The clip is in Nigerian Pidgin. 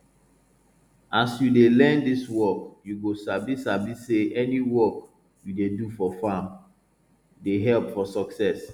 as you dey learn dis work you go sabi sabi say any work you dey do for farm dey help for success